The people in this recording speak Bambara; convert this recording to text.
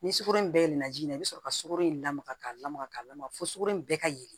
Ni sukaro in bɛɛ ye naji in ye i bɛ sɔrɔ ka sukoro in lamaga ka lamaga k'a lamaga fo sukoro in bɛɛ ka ye